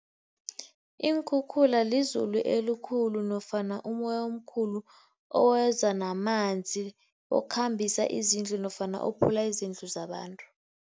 Iinkhukhula lizulu elikhulu nofana umoya omkhulu oweza namanzi, okhambisa izindlu nofana ophula izindlu zabantu.